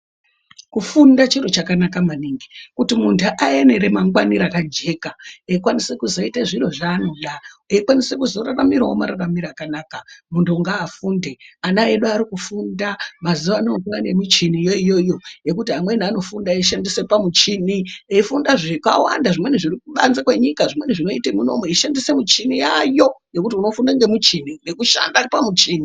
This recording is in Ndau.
Kufunda chiro chakanaka maningi kuti muntu ave neramangwana rakajeka eikwanisa kuzoita zviro zvaanoda eikwanisa kuzoraramirawo mararamire akanaka. Muntu ngaafunde, ana edu ari kufunda. Mazuvano kwane michini iyo iyoyo yekuti amweni anofunda eishandise pamuchini ,eifunda zvakawanda zvimweni zviri kubanze kwenyika. Zvimweni zvinoiye munomu achishandise muchini yayo, ngekuti unofunda pamucheni ngekushanda pamuchini.